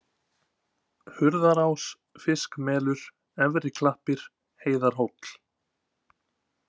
Hurðarás, Fiskmelur, Efriklappir, Heiðarhóll